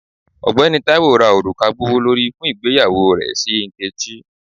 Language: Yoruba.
Ọgbẹni Taiwo ra oruka gbowolori fun igbeyawo rẹ si nkechi.